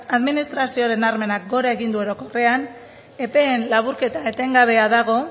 administrazioaren gora egin du orokorrean epeen laburketa etengabea dago